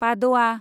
पाद'आ